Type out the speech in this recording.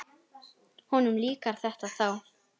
Honum líkar þetta þá.